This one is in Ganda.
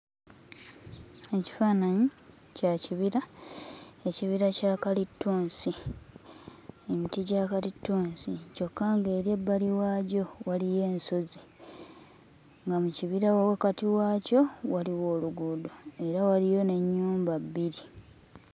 Mu kifaananyi kya kibira ekibira kya kalitunsi emiti gya kalitunsi kyokka ng'eri ebbali waagyo waliyo ensozi nga mu kibira wa wakakati waakyo waliwo oluguudo era waliyo n'ennyumba bbiri.